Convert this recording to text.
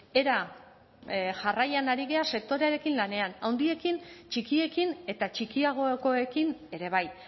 era jarraian ari gara sektorearekin lanean handiekin txikiekin eta txikiagokoekin ere bai